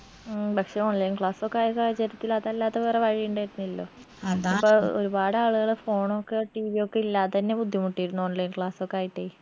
ഉം പക്ഷെ online class ഒക്കെ ആയ സാഹചര്യത്തിൽ അതല്ലാതെ വേറെ വഴിയിണ്ടായിരുന്നില്ലല്ലോ ഇപ്പൊ ഒരുപാട് ആളുകൾ phone ഒക്കെ TV യൊക്കെ ഇല്ലാതെന്നെ ബുദ്ധിമുട്ടിയിരുന്നു online class ഒക്കെ ആയിട്ടേ